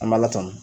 An b'a la tan